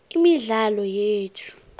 imidlalo yethu